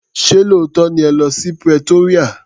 Ṣé lóòótọ́ ni ẹ lọ́ sí Pretoria.